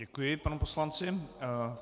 Děkuji panu poslanci.